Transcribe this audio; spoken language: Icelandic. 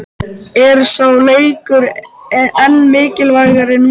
Er sá leikur enn mikilvægari núna?